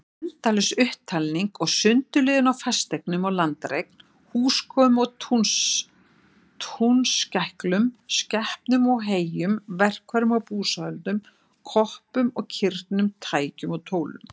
Endalaus upptalning og sundurliðun á fasteignum og landareign, húskofum og túnskæklum, skepnum og heyjum, verkfærum og búsáhöldum, koppum og kirnum, tækjum og tólum.